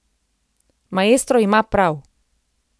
Maestro ima prav.